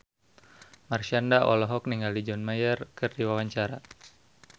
Marshanda olohok ningali John Mayer keur diwawancara